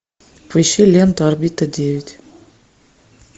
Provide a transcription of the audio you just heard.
поищи ленту орбита девять